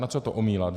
Na co to omílat?